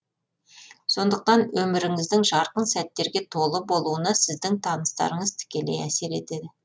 сондықтан өміріңіздің жарқын сәттерге толы болуына сіздің таныстарыңыз тікелей әсер етеді